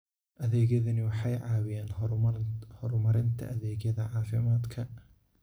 Adeegyadani waxay caawiyaan horumarinta adeegyada caafimaadka.